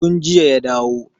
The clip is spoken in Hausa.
Tun jiya ya dawo.